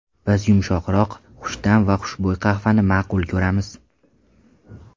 Biz yumshoqroq, xushta’m va xushbo‘y qahvani ma’qul ko‘ramiz.